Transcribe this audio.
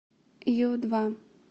ю два